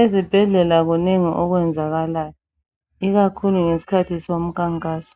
Ezibhedlela kunengi okwenzakalayo ikakhulu ngesikhathi somkhankaso.